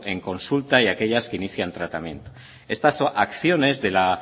en consulta y aquellas que inician tratamiento estas acciones de la